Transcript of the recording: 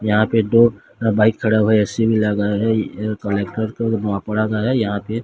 यहां पे दो अह बाइक खड़ा हुआ है ए_सी भी लगा है यहां पे--